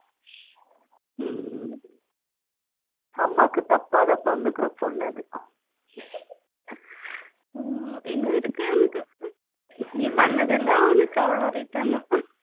அம்மாக்கு தப்பாம பொறந்துருக்கு பொண்ணு அது இன்னு இருக்கு அவனுக்கு நீ பண்ணதெல்லாம் உனக்கு அவ்ளோ return